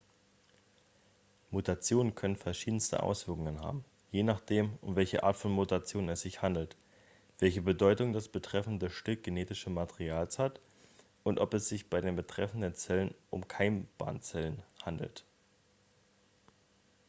mutationen können verschiedenste auswirkungen haben je nachdem um welche art von mutation es sich handelt welche bedeutung das betreffende stück genetischen materials hat und ob es sich bei den betreffenden zellen um keimbahnzellen handelt